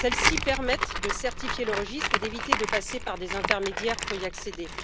Celles ci permettent de certifier le registre et d'éviter de passer par des intermédiaires pour y accéder.